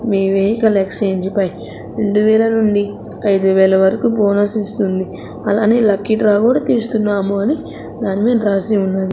మేమే ఎక్స్చేంజు పై రెండు వేల నుండి ఐదు వేల వరకు బోనస్ ఇస్తుంది లక్కీ డ్రా కూడా తీస్తున్నాము అని దాని మీద రాసి ఉన్నది.